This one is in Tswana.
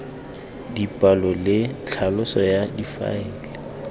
dipalo le tlhaloso ya difaele